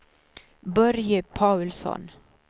Börje Paulsson